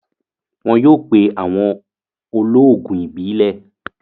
Wọn yóò pé awọn òlóogùn ìbílẹ̀.